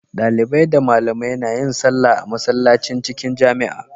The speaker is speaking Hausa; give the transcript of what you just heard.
Dalibai da malamai nayin sallah a masallacin cikin jamia